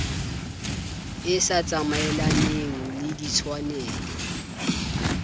e sa tsamaelaneng le ditshwanelo